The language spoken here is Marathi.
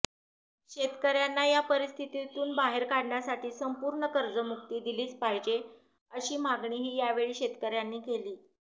शेतकऱ्यांना या परिस्थितीतून बाहेर काढण्यासाठी संपूर्ण कर्जमुक्ती दिलीच पाहिजे अशी मागणीही यावेळी शेतकऱ्यांनी केली